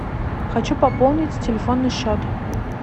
хочу пополнить телефонный счет